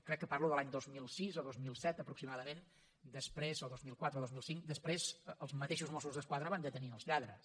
crec que parlo de l’any dos mil sis o dos mil set aproximadament o dos mil quatre o dos mil cinc després els mateixos mossos d’esquadra van detenir els lladres